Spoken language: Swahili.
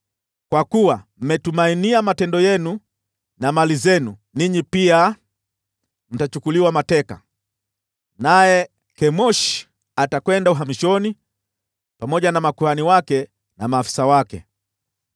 Kwa kuwa mmetumainia matendo yenu na mali zenu, ninyi pia mtachukuliwa mateka, naye Kemoshi atakwenda uhamishoni, pamoja na makuhani wake na maafisa wake.